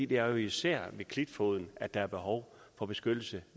det er jo især ved klitfoden der er behov for beskyttelse